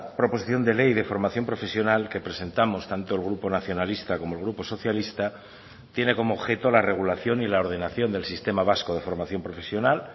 proposición de ley de formación profesional que presentamos tanto el grupo nacionalista como el grupo socialista tiene como objeto la regulación y la ordenación del sistema vasco de formación profesional